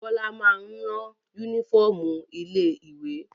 Bọ́lá máa ń rán únífọ́ọ́mù ilé-ìwé.